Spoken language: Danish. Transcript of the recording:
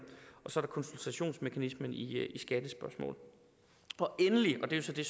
og så er der konsultationsmekanismen i skattespørgsmål endelig og det er så det